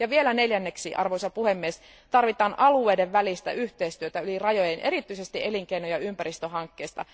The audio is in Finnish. Vielä neljänneksi, arvoisa puhemies, tarvitaan alueiden välistä yhteistyötä yli rajojen erityisesti elinkeino ja ympäristöhankkeissa.